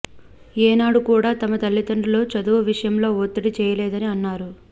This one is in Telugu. ఏనాడు కూడా తమ తల్లిదండ్రులు చదువు విషయంలో ఒత్తిడి చేయలేదని అన్నారు